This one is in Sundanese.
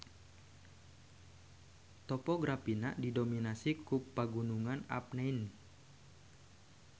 Topografina didominasi ku Pagunungan Apennine.